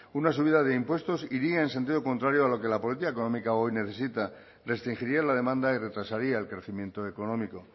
una subida de impuestos iría en sentido contrario a lo que la política económica hoy necesita restringiría la demanda y retrasaría el crecimiento económico